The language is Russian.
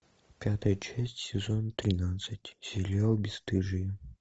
пятая часть сезон тринадцать сериал бесстыжие